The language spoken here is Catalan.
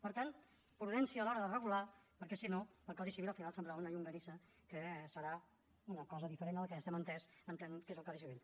per tant prudència a l’hora de regular perquè si no el codi civil al final semblarà una llonganissa que serà una cosa diferent del que entenem que és el codi civil